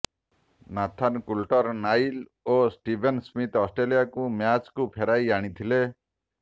Nathan Coulter Nile ଓ Steven Smith ଅଷ୍ଟ୍ରେଲିଆକୁ ମ୍ୟାଚ୍କୁ ଫେରାଇ ଆଣିଥିଲେ